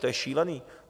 To je šílený.